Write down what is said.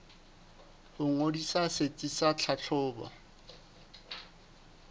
ho ngodisa setsi sa tlhahlobo